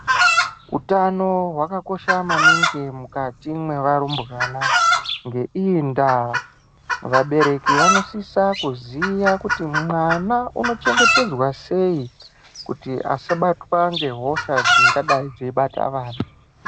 Utano hwakakosha maningi mukati mwearumbwana, ngeiyi ndaa, vabereki vanosisa kuziya kuti mwana unochengetedzwa sei kuti asabatwa ngehosha dzingadai dzeibata vana.